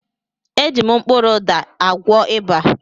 Eji m kpụrụ ụda akwọ ịba.